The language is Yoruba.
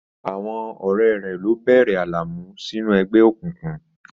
Àwọn ọ̀rẹ́ rẹ̀ ló bẹ̀rẹ̀ Alamu sínú ẹgbẹ́ òkùnkùn.